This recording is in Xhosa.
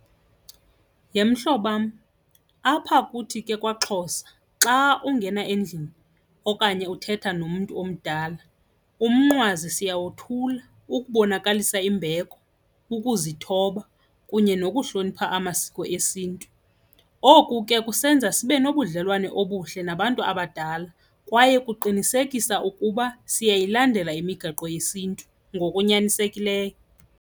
Yhe mhlobam, apha kuthi ke kwaXhosa xa ungena endlini okanye uthetha nomntu omdala umnqwazi siyawothula ukubonakalisa imbeko, ukuzithoba kunye nokuhlonipha amasiko esiNtu. Oku ke kusenza sibe nobudlelwane obuhle nabantu abadala kwaye kuqinisekisa ukuba siyayilandela imigaqo yesiNtu ngokunyanisekileyo.